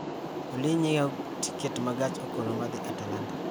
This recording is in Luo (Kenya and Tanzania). Olly nyiewo tiket ma gach okoloma dhi atlanta